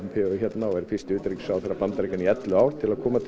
hérna og er fyrsti utanríkisráðherra Bandaríkjanna í ellefu ár til að koma til